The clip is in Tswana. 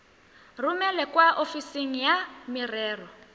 romele kwa ofising ya merero